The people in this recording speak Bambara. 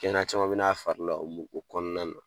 Kɛnɛya caman mi n'a fari la o mu o kɔɔna na.